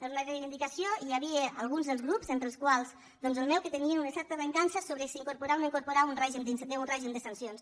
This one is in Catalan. era una reivindicació i hi havia alguns dels grups entre els quals el meu que tenien una certa recança sobre si incorporar o no incorporar un règim de sancions